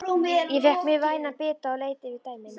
Ég fékk mér vænan bita og leit yfir dæmin.